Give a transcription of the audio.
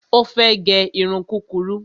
Ó fẹ́ gẹ irun kúrurú